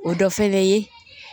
O dɔ fɛnɛ ye